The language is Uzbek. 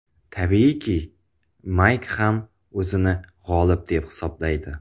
Tabiiyki, Mayk ham o‘zini g‘olib deb hisoblaydi.